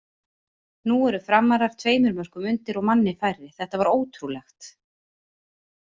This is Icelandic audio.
Nú eru Framarar tveimur mörkum undir og manni færri, þetta var ótrúlegt!!